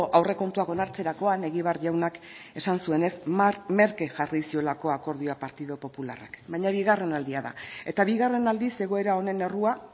aurrekontuak onartzerakoan egibar jaunak esan zuenez merke jarri ziolako akordioa partidu popularrak baina bigarren aldia da eta bigarren aldiz egoera honen errua